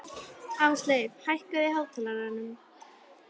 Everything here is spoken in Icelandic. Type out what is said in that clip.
Ásleif, hækkaðu í hátalaranum.